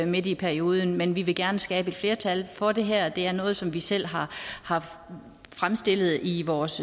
midt i perioden men vi vil gerne skabe et flertal for det her det her er noget som vi selv har har fremstillet i vores